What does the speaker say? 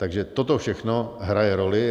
Takže toto všechno hraje roli.